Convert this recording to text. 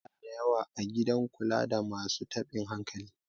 yara da yawa a gidan kula da masu tabin hankali